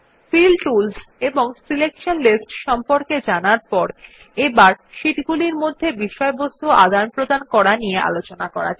feel tools এবং selection lists সম্পকে জানার পর এবার শিট গুলির মধ্যে বিষয়বস্তু আদানপ্রদান করা নিয়ে আলোচনা করা যাক